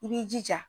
I b'i jija